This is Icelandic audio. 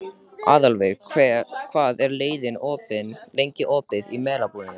Aðalveig, hvað er lengi opið í Melabúðinni?